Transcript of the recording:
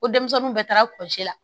Ko denmisɛnninw bɛɛ taara pɔsi la